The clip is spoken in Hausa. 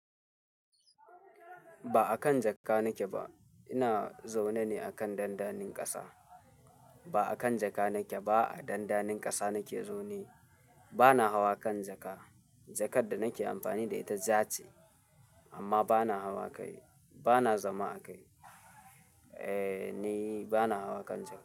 Ba akan jakka nake ba. Ina zaune ne akan dandanin ƙasa. Ba akan jaka nake ba. A dandanin ƙasa nake zaune. Bana hawa kan jaka. Jakar da nake amfani da ita ja ce. Amma bana hawa kai. Bana zama a kai. Eh, ni bana hawa kan jaka.